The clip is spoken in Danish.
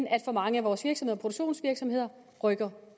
at for mange af vores produktionsvirksomheder rykker